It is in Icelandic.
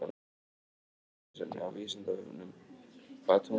Frekara lesefni á Vísindavefnum: Hvaða tungumál ætli Nói og niðjar hans hafi talað?